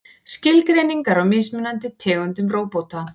Skilgreiningar á mismunandi tegundum róbóta.